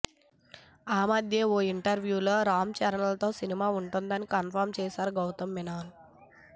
ఆ మధ్య ఓ ఇంటర్వ్యూలో రామ్ చరణ్ తో సినిమా ఉంటుందని కన్ఫర్మ్ చేసాడు గౌతమ్ మీనన్